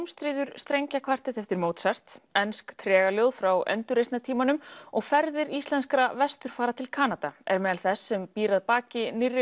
ómstríður strengjakvartett eftir Mozart ensk frá endurreisnartímanum og ferðir íslenskra vesturfara til Kanada er meðal þess sem býr að baki nýrri